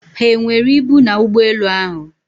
ha e nwere ibu na ụgbọelu ahụ?